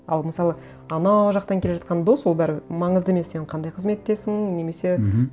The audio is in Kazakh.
ал мысалы ана жақтан келе жатқан дос ол бәрібір маңызды емес сен қандай қызметтесің немесе мхм